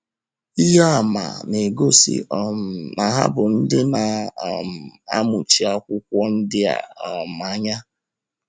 Ihe àmà na - egosi um na ha bụ ndị na - um amụchi akwụkwọ ndi a um anya.